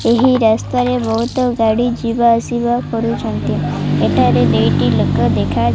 ଏହି ରାସ୍ତାରେ ବହୁତ୍ ଗାଡ଼ି ଯିବା ଆସିବା କରୁଛନ୍ତି ଏଠାରେ ଦୁଇଟି ଲୋକ ଦେଖା --